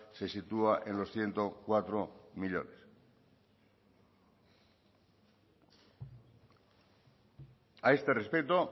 se sitúa en los ciento cuatro millónes a este respecto